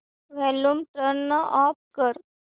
volume turn off कर